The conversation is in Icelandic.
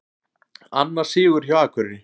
Annar sigur hjá Akureyri